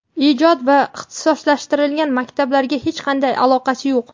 ijod va ixtisoslashtirilgan maktablariga hech qanday aloqasi yo‘q.